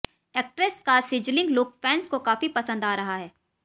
actress का sizzling look fans को काफी पसंद आ रहा है